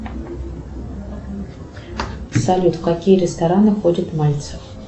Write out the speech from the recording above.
салют в какие рестораны ходит мальцев